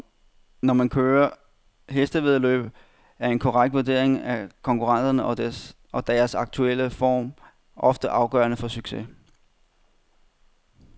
Når man kører hestevæddeløb, er en korrekt vurdering af konkurrenterne og deres aktuelle form ofte afgørende for succes.